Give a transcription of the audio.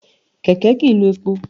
Kẹ̀kẹ́ kìí lo epo.